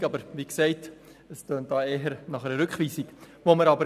Es klingt aber, wie gesagt, eher nach einer Rückweisung.